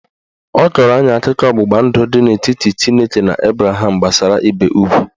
Ọ kọrọ anyị akụkọ ọgbụgba ndụ dị n'etiti Chineke na Abraham gbasara ibe ugwu